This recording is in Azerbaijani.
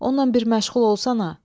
Onunla bir məşğul olsana.